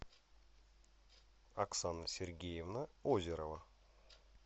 оксана сергеевна озерова